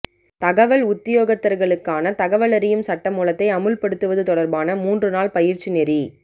தகவல் உத்தியோகத்தர்களுக்கான தகவல் அறியும் சட்டமூலத்தை அமுல் படுத்துவது தொடர்பான மூன்று நாள் பயிற்சி நெறி